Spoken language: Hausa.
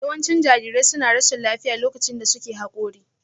Yawancin jarirai suna rashin lafiya lokacin da suke Haƙori